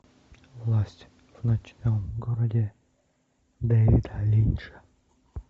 власть в ночном городе дэвида линча